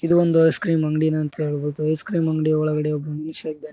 ಇದು ಒಂದು ಐಸ್ಕ್ರೀಮ್ ಅಂಗಡಿನಂತ ಹೇಳ್ಬೋದು ಐಸ್ ಕ್ರೀಮ್ ಅಂಗಡಿ ಒಳಗಡೆ ಒಬ್ಬ ಮನುಷ್ಯ ಇದ್ದಾನೆ.